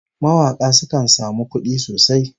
Mawaka sukan samu kudi sosai